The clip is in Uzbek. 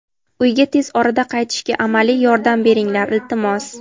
Uyga tez orada qaytishga amaliy yordam beringlar, iltimos.